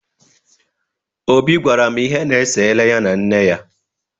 Obi gwara m ihe na-esere ya na nne ya.